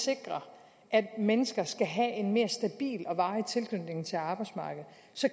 sikre at mennesker skal have en mere stabil og varig tilknytning til arbejdsmarkedet